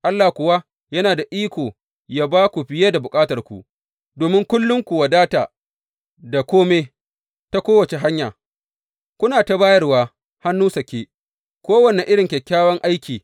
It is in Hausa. Allah kuwa yana da iko yă ba ku fiye da bukatarku, domin kullum ku wadata da kome ta kowace hanya, kuna ta bayarwa hannu sake, kowane irin kyakkyawan aiki.